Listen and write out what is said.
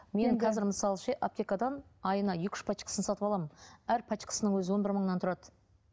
мен қазір мысалы ше аптекадан айына екі үш пачкасын сатып аламын әр пачкасының өзі он бір мыңнан тұрады